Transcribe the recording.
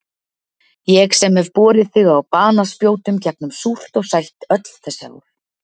Ég sem hef borið þig á banaspjótum gegnum súrt og sætt öll þessi ár.